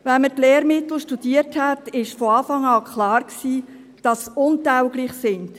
– Wenn man die Lehrmittel studiert hat, war von Anfang an klar, dass sie untauglich sind.